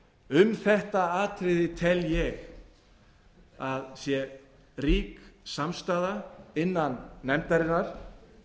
um þetta atriði tel ég að sé rík samstaða innan nefndarinnar og